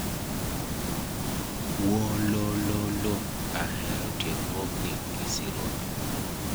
Wolololo, ahero tiegruogni gi sironyo.